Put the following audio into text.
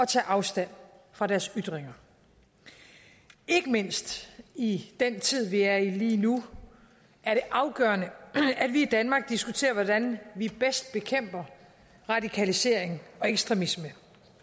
tage afstand fra deres ytringer ikke mindst i den tid vi er i lige nu er det afgørende at vi i danmark diskuterer hvordan vi bedst bekæmper radikalisering og ekstremisme